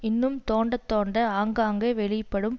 இன்னும் தோண்ட தோண்ட ஆங்காங்கே வெளிப்படும்